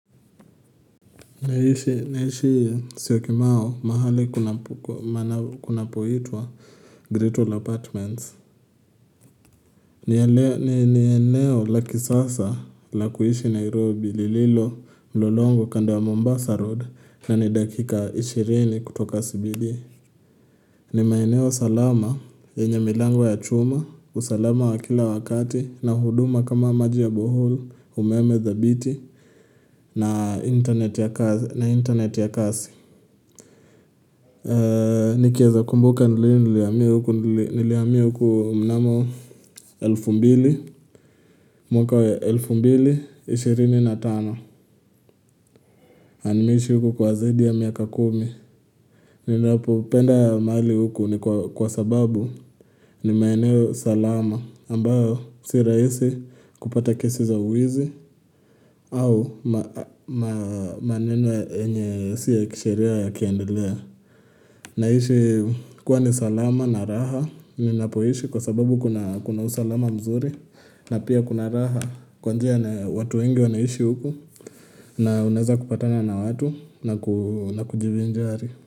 Naishi Syokimau, mahali kunapoitwa Greatwall Apartments. Ni eneo la kisasa la kuishi Nairobi lililo mlolongo kando ya Mombasa Road, na ni dakika ishirini kutoka CBD ni maeneo salama yenye milango ya chuma, usalama wa kila wakati na huduma kama maji ya borehole, umeme dhabiti, na na internet ya kasi. Nikieza kumbuka ni lini nilihamia huku, nilihamia huku mnamo elfu mbili mwaka wa elfu mbili, ishirini na tano. Na nimeishi huku kwa zaidi ya miaka kumi. Ninapopenda mahali huku ni kwa sababu ni maeneo salama ambayo si rahisi kupata kesi za wizi, au maneno yenye sio ya kisheria yakiendelea Naishi kuwa ni salama na raha ninapoishi kwa sababu kuna usalama mzuri na pia kuna raha kwa njia watu wengi wanaishi huku na unaeza kupatana na watu na na kujivinjari.